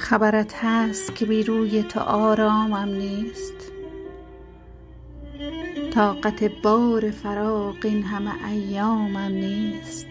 خبرت هست که بی روی تو آرامم نیست طاقت بار فراق این همه ایامم نیست